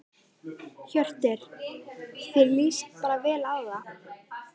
Hjörtur: Þér lýst bara vel á það?